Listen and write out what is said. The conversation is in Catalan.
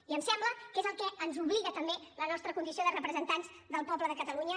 i em sembla que és el que ens obliga també la nostra condició de representants del poble de catalunya